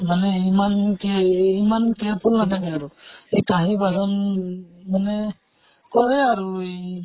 মানে ইমান কে এহ ইমান careful নাথাকে আৰু। এই কাহি বাচন মানে কৰে আৰু ইহ